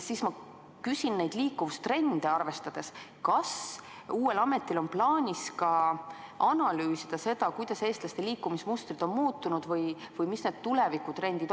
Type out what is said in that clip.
Ma küsin neid trende arvestades, kas uuel ametil on plaanis analüüsida, kuidas eestlaste liikumismustrid on muutunud või millised on tulevikutrendid.